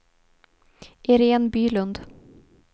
Iréne Bylund